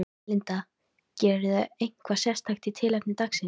Linda: Gerirðu eitthvað sérstakt í tilefni dagsins?